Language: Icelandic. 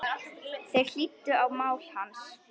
Þeir hlýddu á mál hans.